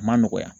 A ma nɔgɔya